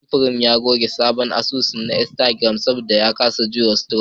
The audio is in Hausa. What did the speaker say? Samfurin ya goge asusun sa na Instagram saboda ya kasa jurewa trolls.